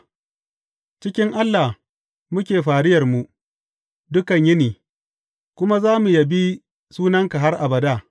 A cikin Allah muke fariyarmu dukan yini, kuma za mu yabi sunanka har abada.